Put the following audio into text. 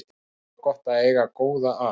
Þá er gott að eiga góða að.